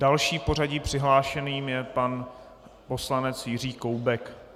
Dalším v pořadí přihlášeným je pan poslanec Jiří Koubek.